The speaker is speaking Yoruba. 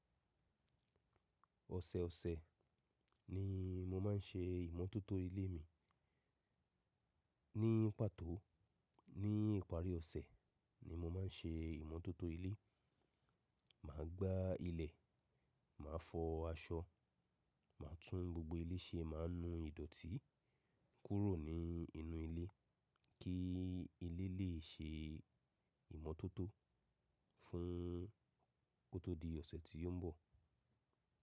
Ọ̀sẹ̀ ọ̀sẹ̀ ni mo maá n ṣe ìmọ́tótó ilé mi. Ní pàtó, ní ìparí ọ̀sẹ̀ ni mo má n ṣe ìmọ́tótó ilé. Màá gbá ilẹ̀, màá fọ aṣọ, màá tún gbogbo ilé ṣe, màá nú ìdọ̀tí kúrò ní inú ilé, kí ilé lè ṣe ìmọ́tótó fún kó tó di ọ̀sẹ̀ tí ó ń bọ̀.